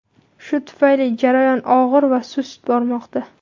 Shu tufayli jarayon og‘ir va sust bormoqda.